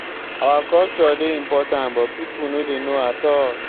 our culture dey important but people no dey know at all.